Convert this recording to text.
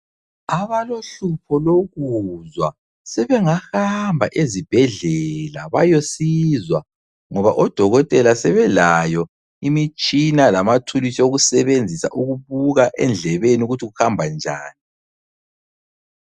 Abalohlupho lokuzwa sebengahamba ezibhedlela bayosizwa ngoba odokotela sebelayo imitshina lamathulusi okusebenzisa ukubuka endlebeni ukuthi kuhambanjani.